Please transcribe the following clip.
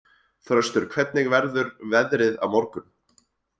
Þröstur, hvernig verður veðrið á morgun?